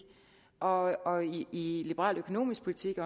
og i liberal økonomisk politik